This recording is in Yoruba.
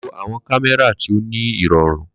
Lo awọn kamẹra ti o ni irọrun.